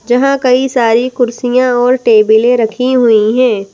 जहाँ कई सारी कुर्सियाँ और टेबले रखी हुई हैं।